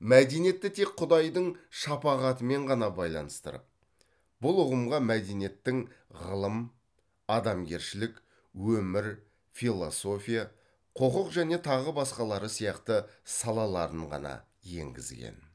мәдениетті тек құдайдың шапағатымен ғана байланыстырып бұл ұғымға мәдениеттің ғылым адамгершілік өмір философия құқық және тағы басқалары сияқты салаларын ғана енгізген